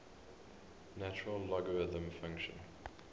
natural logarithm function